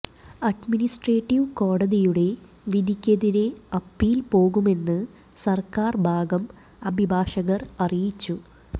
administrative കോടതിയുടെ വിധിക്കെതിരെ appeal പോകുമെന്ന് സർക്കാർ ഭാഗം അഭിഭാഷകർ അറിയിച്ചു